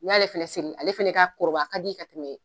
Ni y'ale fɛnɛ siri ale fɛnɛ kɔrɔbaya ka di ka tɛmɛ